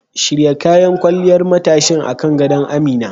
Shirya kayan kwalliyar matashin akan gado Amina.